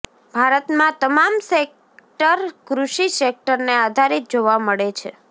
ભારતમાં તમામ સેકટર કૃષિ સેકટરને આધારીત જોવા મળે છે